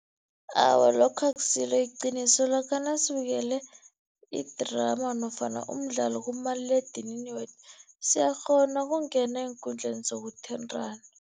Awa, lokho akusilo iqiniso lokha nasibukele idrama nofana umdlalo kumaliledinini wethu, siyakghona ukungena eenkundleni zokuthintana.